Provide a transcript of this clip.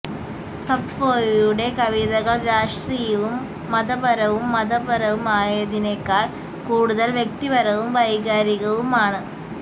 സപ്ഫോയുടെ കവിതകൾ രാഷ്ട്രീയവും മതപരവും മതപരവും ആയതിനേക്കാൾ കൂടുതൽ വ്യക്തിപരവും വൈകാരികവുമാണ്